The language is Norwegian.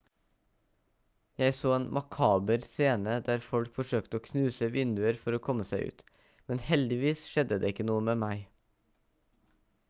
jeg så en makaber scene der folk forsøkte å knuse vinduer for å komme seg ut men heldigvis skjedde det ikke noe med meg